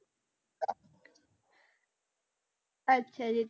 ਅੱਛਾ ਜੀ